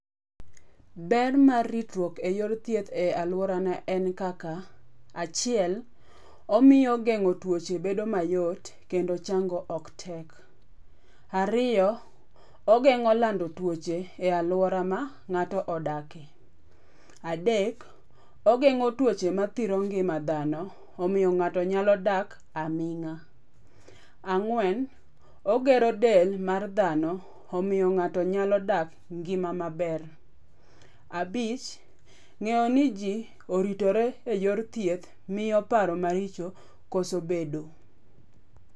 Ber mar ritruok eyor thieth e aluorana en kaka, achiel omiyo geng'o tuoche bedo mayot kendo chango ok tek. Ariyo, ogeng'o lando tuoche e aluora ma ng'ato odakie. Adek, ogeng'o tuoche mathiro ngima dhano, omiyo ng'ato nyalo dak aming'a. Ang'wen ogero del mar dhano, omiyo ng'ato nyalo dak ngima maber. Abich, ng'eyo niji oritore eyor thieth miyo paro maricho koso bedo.